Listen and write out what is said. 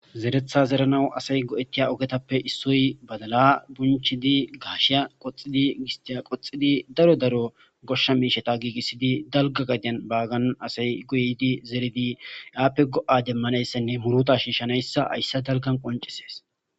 zeretha zeranawu asay go7ettiya ogetappe issoy badala bunchidi gaasheya qoxidi gistiya qoxidi daro daro goshsha miisheta giigissidi dalga gadiyan baagan asay goydi zeridi yaappe go7a demmanayssenne muruta shiishanayssa haysse dalgan qoncisees